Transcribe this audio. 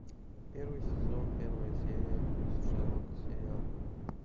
первый сезон первая серия шерлок сериал